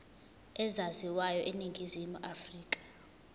ezaziwayo eningizimu afrika